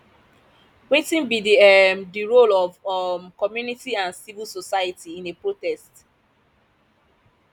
wetin be um di role of um community and civil society in a protest